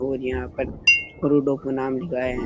और यहाँ पर अरु डॉक्टर नाम लिखा है।